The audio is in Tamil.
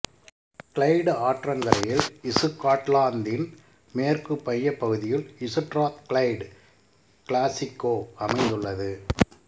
கிளைடு ஆற்றங்கரையில் இசுகாட்லாந்தின் மேற்கு மையப் பகுதியில் இசுட்ராத்கிளைடு கிளாசுக்கோ அமைந்துள்ளது